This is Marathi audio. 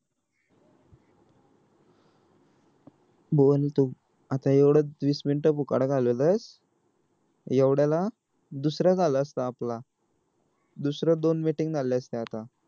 बोल ना तू आता येवढ वीस मिनिटं फुकट घालवलेस येवढाला दुसरा झाला असता आपला दुसरं दोन meeting झाला असता आता